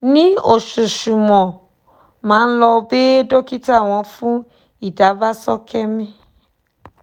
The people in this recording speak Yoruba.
ní oṣooṣù mo máa ń lọ bẹ dókítà wò fún ìdàgbàsókè mi